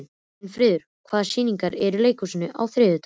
Sveinfríður, hvaða sýningar eru í leikhúsinu á þriðjudaginn?